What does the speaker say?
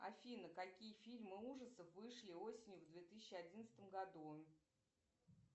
афина какие фильмы ужасов вышли осенью в две тысячи одиннадцатом году